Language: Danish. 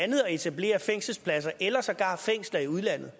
andet at etablere fængselspladser eller sågar fængsler i udlandet